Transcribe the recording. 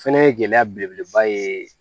Fɛnɛ ye gɛlɛya belebeleba ye